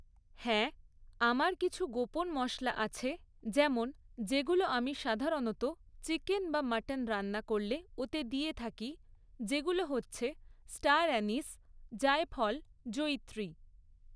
হ্যাঁ আমার কিছু গোপন মশলা আছে যেমন যেগুলো আমি সাধারণত চিকেন বা মাটন রান্না করলে ওতে দিয়ে থাকি যেগুলো হচ্ছে স্টার অ্যানিস জায়ফল জয়িত্রী